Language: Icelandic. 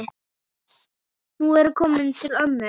Nú ertu kominn til ömmu.